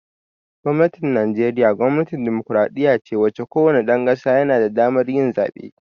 Gwamnatin Najeriya gwamnatin demokradiyya ce wacce ko wane ɗan ƙasa yana da damar yin zaɓe